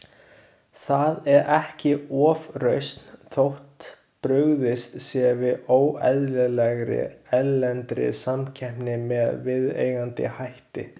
Það er ekki ofrausn þótt brugðist sé við óeðlilegri, erlendri samkeppni með viðeigandi hætti.